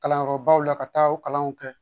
Kalanyɔrɔbaw la ka taa o kalanw kɛ